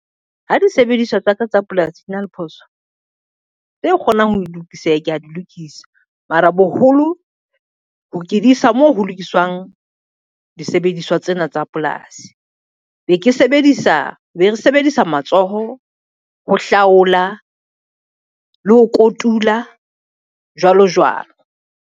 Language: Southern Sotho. Ha disebediswa tsa ka tsa polasi di na le phoso tse kgonang ho lokiseha, kea di lokiswa. Mara boholo ke di isa moo ho lokiswang disebediswa tsena tsa polasi. Be re sebedisa matsoho ho hlaola le ho kotula, jwalo jwalo.